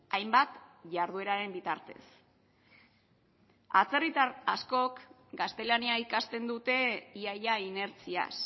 hainbat jardueraren bitartez atzerritar askok gaztelania ikasten dute ia ia inertziaz